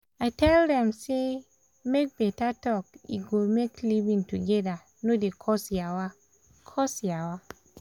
i tell dem say make beta talk e go make living together no dey cause yawa. cause yawa.